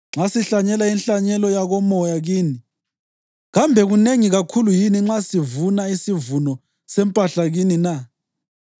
Nxa sahlanyela inhlanyelo yakomoya kini, kambe kunengi kakhulu yini nxa sivuna isivuno sempahla kini na?